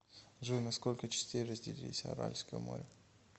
джой на сколько частей разделились аральское море